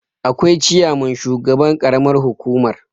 akwai ciyaman shugaban ƙaramar hukumar